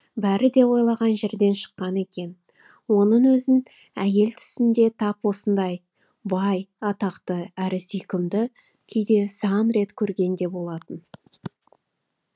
бәрі де ойлаған жерден шыққан екен оның өзін әйел түсінде тап осындай бай атақты әрі сүйкімді күйде сан рет көрген де болатын